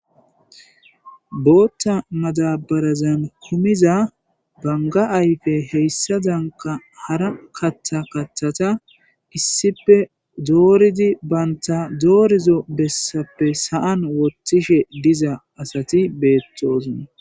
Bootta madabarazan kumiza banga ayfe heyssa zanka hara katha kathata issipe dooridi baynta doorizo bessappe sa'an wothtishe diza asati beettosna